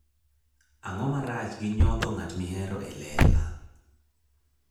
Ang'o marach gi nyodho ng'at mihero e lela?